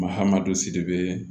Mahadu siribe